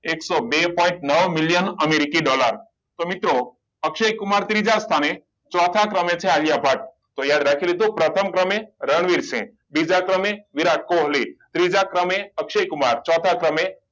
એકસો બે પોઇન્ટ નવ million americi dollar તો મિત્રો અક્ષય કુમાર ત્રીજા સ્થાને ચોથા ક્રમે છે આલિયા ભટ્ટ તો યાદ રાખી લીધું પ્રથમ ક્રમે રણવીરસિંહ બીજા ક્રમે વિરાટ કોહલી ત્રીજા ક્રમે અક્ષય કુમાર ચોથા ક્રમે